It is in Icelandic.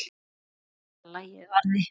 Sverða lagið varði.